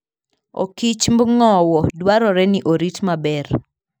Okichmb ng'owo dwarore ni orit maber